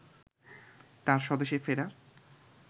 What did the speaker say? তাঁর স্বদেশে ফেরা